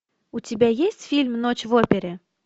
у тебя есть фильм ночь в опере